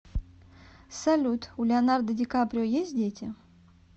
салют у леонардо ди каприо есть дети